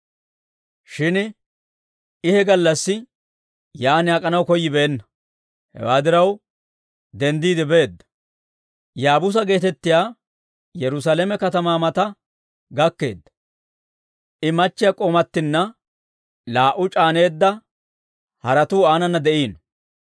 Shin I he gallassi yaan ak'anaw koyyibeenna. Hewaa diraw, denddiide beedda; Yaabuusa geetettiyaa Yerusaalame katamaa mata gakkeedda; I akkiyaa k'oomattanne laa"u c'aaneedda haretuu aananna de'iino.